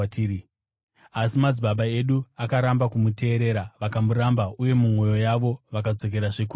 “Asi madzibaba edu akaramba kumuteerera. Vakamuramba uye mumwoyo yavo vakadzokerazve kuIjipiti.